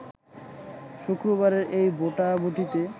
শুক্রবারের এই ভোটাভুটিতে